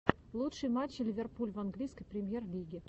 лучшие матчи ливерпуль в английской премьер лиги